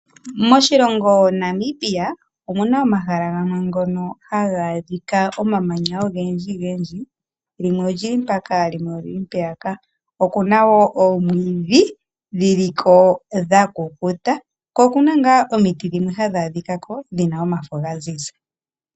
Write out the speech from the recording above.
Moshilongo Namibia omu na omahala gamwe ngono hamu adhika omamanya ogendji gendji limwe olili mpaka limwe olili mpeyaka, oku na wo omwiidhi dhi liko dha kukuta ko oku na ngaa omiti dhimwe hadhi adhikako dhi na omafo ga ziza.